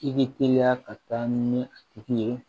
I bɛ teliya ka taa ni a tigi ye